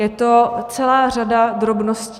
Je to celá řada drobností.